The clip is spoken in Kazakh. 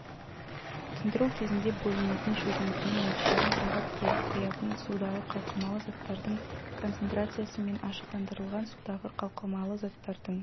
тұндыру кезінде бөлінетін шөгіндінің мөлшерін сағат келіп құятын судағы қалқымалы заттардың концентрациясы мен ашықтандырылған судағы қалқымалы заттардың